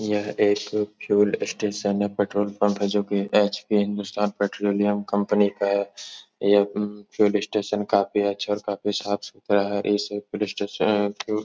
यह एक fuel station है। पेट्रोल पंप है जो कि एच.पी. हिन्दुस्तान पेट्रोलियम कंपनी का है। यह म्म फ्यूल स्टेशन काफी अच्छा और काफी साफ सुथरा है। इस पुलिस स्टेशन फ्यूल --